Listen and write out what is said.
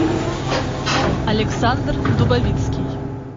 александр дубовицкий